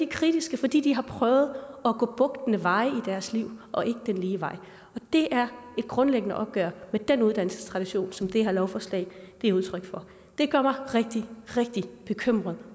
kritiske fordi de har prøvet at gå bugtende veje i deres liv og ikke den lige vej og det er et grundlæggende opgør med den uddannelsestradition som det her lovforslag er udtryk for det gør mig rigtig rigtig bekymret